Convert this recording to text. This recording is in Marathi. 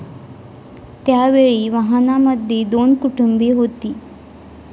त्यावेळी वाहनामध्ये दोन कुटुंबे होती.